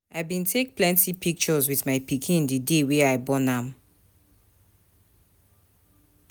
I bin take plenty pictures wit my pikin d day wey I born am.